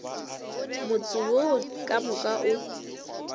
motse wo ka moka o